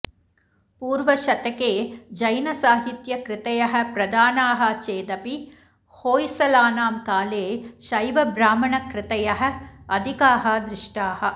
पूर्वशतके जैनसाहित्यकृतयः प्रधानाः चेदपि होय्सळानां काले शैवब्राह्मणकृतयः अधिकाः दृष्टाः